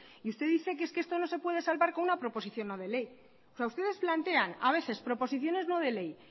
y usted dice que es que esto no se puede salvar con una proposición no de ley o sea ustedes plantean a veces proposiciones no de ley